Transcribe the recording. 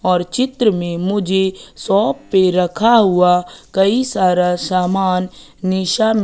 और चित्र में मुझे शॉप पे रखा हुआ कई सारा सामान निशा--